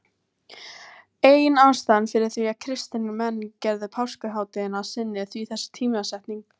Ein ástæðan fyrir því að kristnir menn gerðu páskahátíðina að sinni er því þessi tímasetning.